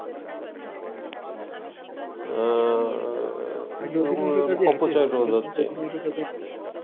অপচয় রোধ হচ্ছে